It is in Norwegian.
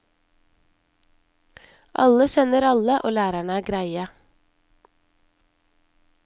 Alle kjenner alle, og lærerne er greie.